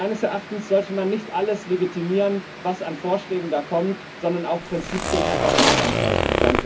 Meines Erachtens sollte man nicht alles legitimieren, was an Vorschlägen kommt, sondern auch Prinzipien einfach einmal durchhalten.